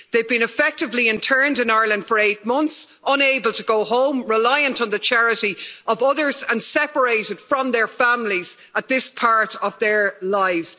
They've been effectively interned in Ireland for eight months, unable to go home, reliant on the charity of others and separated from their families at this part of their lives.